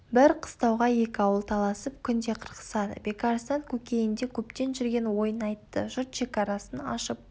бір қыстауға екі ауыл таласып күнде қырқысады бекарыстан көкейінде көптен жүрген ойын айтты жұрт шекарасын ашып